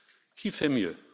Qui fait mieux?